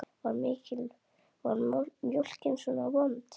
Var mjólkin svona vond?